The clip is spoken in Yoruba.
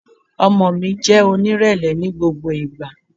Ọmọ mi, jẹ́ onírẹ̀lẹ̀ ni gbogbo ìgbà!